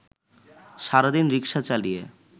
সারাদিন রিক্সা চালিয়ে